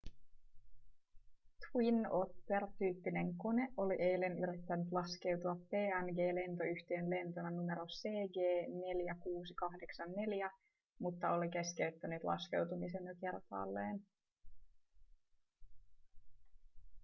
twin otter tyyppinen kone oli eilen yrittänyt laskeutua png-lentoyhtiön lentona numero cg4684 mutta oli keskeyttänyt laskeutumisen jo kertaalleen